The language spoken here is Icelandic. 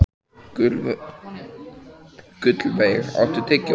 Gullveig, áttu tyggjó?